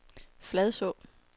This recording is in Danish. Fladså